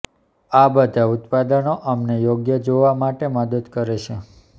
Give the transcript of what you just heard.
આ બધા ઉત્પાદનો અમને યોગ્ય જોવા માટે મદદ કરે છે